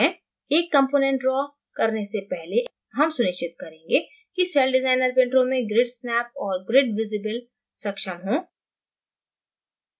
एक component draw करने से पहले हम सुनिश्चित करेंगें कि celldesigner window में grid snap और grid visible सक्षम हों